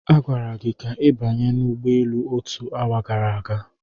A gwara gị ka ị banye n'ụgbọelu otu awa gara aga.